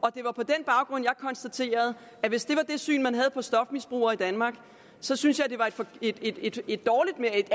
og på den baggrund jeg konstaterede at hvis det var det syn man havde på stofmisbrugere i danmark så synes jeg at det er et